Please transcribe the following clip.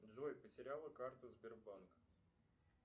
джой потеряла карту сбербанк